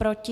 Proti?